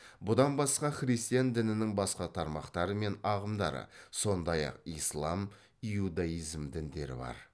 бұдан басқа христиан дінінің басқа тармақтары мен ағымдары сондай ақ ислам иудаизм діндері бар